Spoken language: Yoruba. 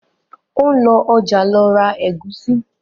o ń lọ ọjà ló ra Egusi